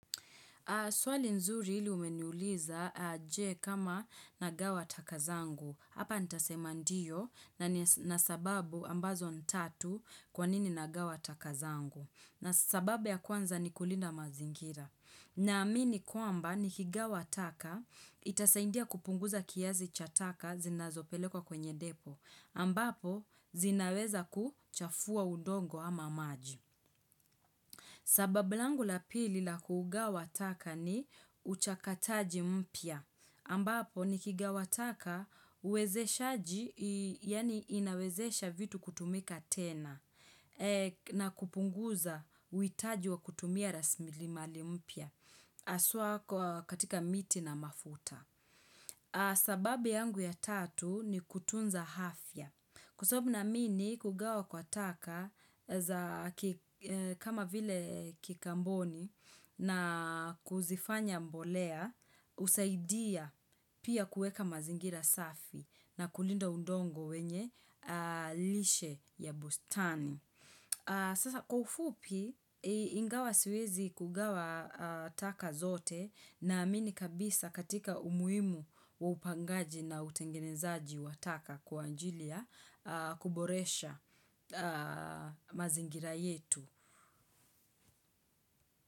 Swali nzuri ile umeniuliza je kama nagawa taka zangu. Hapa ntasema ndiyo na sababu ambazo ni tatu kwa nini nagawa takazangu. Na sababu ya kwanza ni kulinda mazingira. Naamini kwamba ni kigawa taka itasaidia kupunguza kiasi cha taka zinazopelekwa kwenye depo. Ambapo zinaweza kuchafua udongo ama maji. Sababu langu la pili la kugawa taka ni uchakataji mpya, ambapo nikigawa taka uwezeshaji, yaani inawezesha vitu kutumika tena, na kupunguza uhitaji wa kutumia rasilimali mpya, haswa katika miti na mafuta. Sababu yangu ya tatu ni kutunza afya. Kwa sababu naamini kugawa kwa taka kama vile kikamboni na kuzifanya mbolea husaidia pia kueka mazingira safi na kulinda udongo wenye lishe ya bustani. Sasa kwa ufupi ingawa siwezi kugawa taka zote naamini kabisa katika umuhimu wa upangaji na utengenezaji wa taka kwa ajili ya kuboresha mazingira yetu.